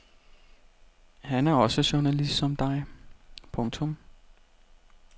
Han er også journalist som dig. punktum